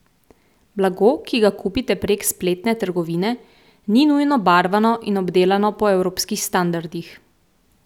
Blago, ki ga kupite prek spletne trgovine, ni nujno barvano in obdelano po evropskih standardih.